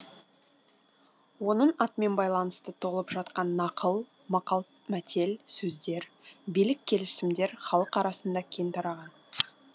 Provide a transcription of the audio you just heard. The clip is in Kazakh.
оның атымен байланысты толып жатқан нақыл мәтел сөздер билік келісімдер халық арасында кең тараған